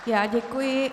Já děkuji.